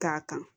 K'a kan